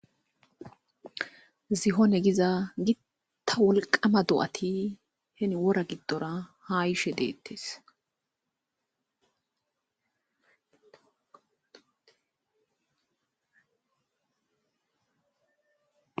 zihone giza gitta wolqama do7ati heni wora giddora ha ishe deettes